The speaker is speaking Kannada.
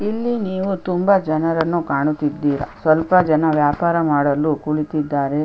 ಇಲ್ಲಿ ನೀವು ತುಂಬ ಜನರನ್ನು ಕಾಣುತಿದೀರಾ ಸ್ವಲ್ಪ ಜನ ವ್ಯಾಪಾರ ಮಾಡಲು ಕುಳಿತಿದ್ದಾರೆ --